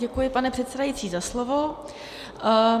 Děkuji, pane předsedající, za slovo.